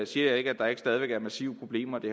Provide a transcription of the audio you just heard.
siger jeg ikke at der ikke stadig væk er massive problemer det